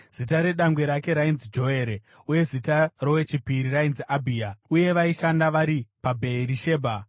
Zita redangwe rake rainzi Joere uye zita rowechipiri rainzi Abhia, uye vaishanda vari paBheerishebha.